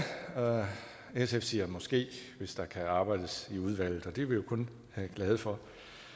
sf siger måske hvis der kan arbejdes med i udvalget og det er vi jo kun glade for